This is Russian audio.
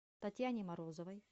татьяне морозовой